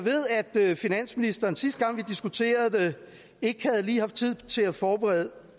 ved at finansministeren sidste gang vi diskuterede det ikke havde haft tid til at forberede